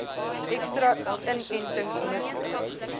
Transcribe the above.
ekstra inentings misloop